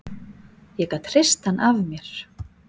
Ég gat hrist hann af mér.